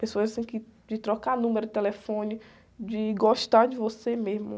Pessoas, assim, que, de trocar número de telefone, de gostar de você mesmo.